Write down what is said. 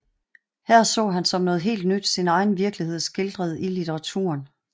Her så han som noget helt nyt sin egen virkelighed skildret i litteraturen